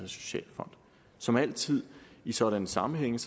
og socialfonden som altid i sådanne sammenhænge